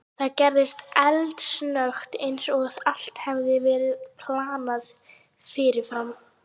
Það gerðist eldsnöggt, eins og allt hefði verið planað fyrirfram.